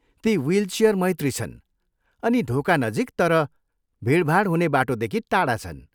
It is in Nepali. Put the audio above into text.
ती विलचियर मैत्री छन् अनि ढोकानजिक तर भिडभाड हुने बाटोदेखि टाढा छन्।